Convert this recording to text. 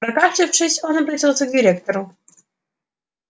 прокашлявшись он обратился к директору